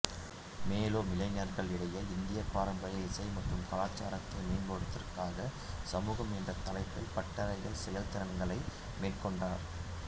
மேலும் இளைஞர்களிடையே இந்திய பாரம்பரிய இசை மற்றும் கலாச்சாரத்தை மேம்படுத்துவதற்கான சமூகம் என்ற தலைப்பில் பட்டறைகள் செயல்திறன்களை மேற்கொள்கிறார்